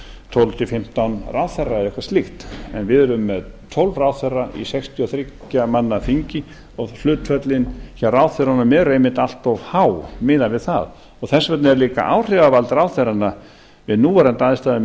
tólf til fimmtán ráðherra eða eitthvað slíkt en við erum með tólf ráðherra í sextíu og þriggja manna þingi og hlutföllin hjá ráðherrunum eru einmitt allt of há miðað við það þess vegna er líka áhrifavald ráðherranna við núverandi aðstæður